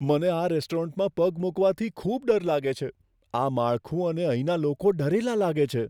મને આ રેસ્ટોરન્ટમાં પગ મૂકવાથી ખૂબ ડર લાગે છે. આ માળખું અને અહીંના લોકો ડરેલા લાગે છે.